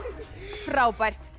frábært